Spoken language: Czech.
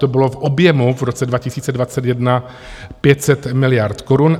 To bylo v objemu v roce 2021 500 miliard korun.